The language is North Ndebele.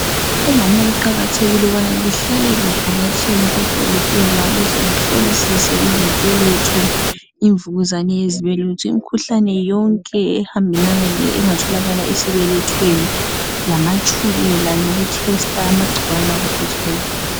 Omama kuqakathekile ukuthi behlale bevakatshela izibhedlela ukuze bavikele izibelethe zabo bahlole ,lemnvukuzane engatholaka esibelethweni lamatshukela lagcikawane anjengapho Hiv.